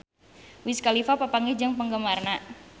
Wiz Khalifa papanggih jeung penggemarna